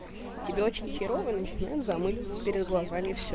тебе очень херова и начинает замыливается перед глазами все